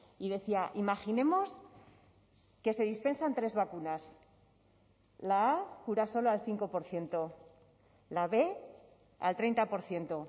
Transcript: y decía imaginemos que se dispensan tres vacunas la a cura solo al cinco por ciento la b al treinta por ciento